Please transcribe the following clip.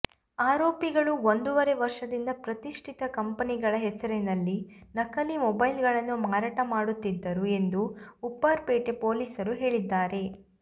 ಆರೋಪಿಗಳು ಒಂದೂವರೆ ವರ್ಷದಿಂದ ಪ್ರತಿಷ್ಠಿತ ಕಂಪೆನಿಗಳ ಹೆಸರಿನಲ್ಲಿ ನಕಲಿ ಮೊಬೈಲ್ಗಳನ್ನು ಮಾರಾಟ ಮಾಡುತ್ತಿದ್ದರು ಎಂದು ಉಪ್ಪಾರಪೇಟೆ ಪೊಲೀಸರು ಹೇಳಿದ್ದಾರೆ